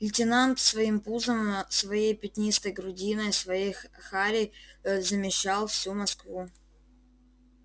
лейтенант своим пузом своей пятнистой грудиной своей харей замещал всю москву